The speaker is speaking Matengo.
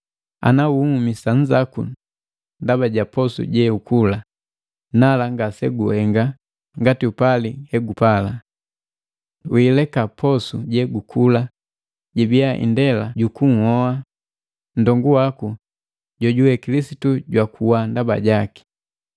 Ana unhumisa nzaku ndaba ja posu jeukula, nala ngase guhenga ngati upali hegupala. Wiileka posu jegukula jibia indela jukunhoa nndongu waku jojuwe Kilisitu jwakuwa ndaba jaki.